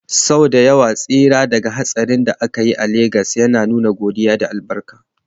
Sau da yawa tsira daga hatsarin da aka yi a Legas ana nuna godiya da albarka.